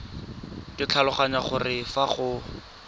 ke tlhaloganya gore fa go